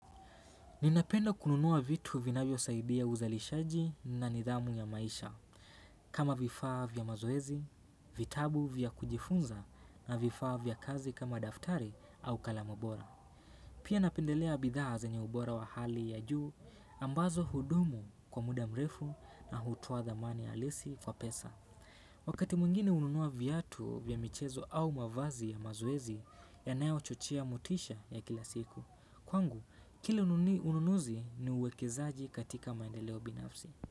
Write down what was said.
Ninapenda kununua vitu vinavyosaidia uzalishaji na nidhamu ya maisha, kama vifaa vya mazoezi, vitabu vya kujifunza na vifaa vya kazi kama daftari au kalamu bora. Pia napendelea bidhaa zenye ubora wa hali ya juu ambazo hudumu kwa muda mrefu na hutoa dhamani ya halisi kwa pesa. Wakati mwingine hununua viatu vya michezo au mavazi ya mazoezi yanayochochea motisha ya kila siku. Kwangu, kila ununuzi ni uwekezaaji katika maendeleo binafsi.